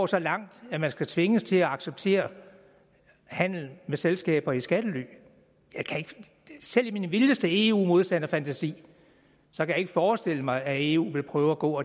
så langt at man skal tvinges til at acceptere handel med selskaber i skattely jeg kan selv i min vildeste eu modstander fantasi ikke forestille mig at eu ville prøve at gå